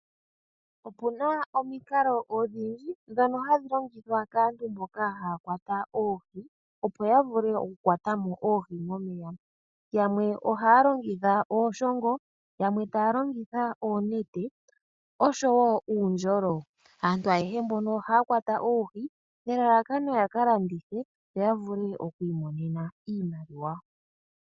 Opuna omikalo odhindji ndhono hadhj longithwa kaantu mboka haya kwata oohi opo yavule okukwata mo oohi momeya. Yamwe ohaya longitha ooshongo, yamwe taya longitha oonete osho wo uundjolo. Aantu ayehe mbono ohaya kwata oohi nelalakano yaka landithe yo yavule okumona iimaliwa.